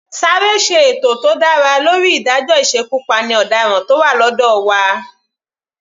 Sáré ṣe ètò tó dára lórí ìdájọ́ ìsekupáni ọ̀daràn tó wà lọ́dọ̀ wa.